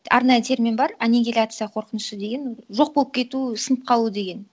арнайы термин бар анигиляция қорқынышы деген жоқ болып кету сынып қалу деген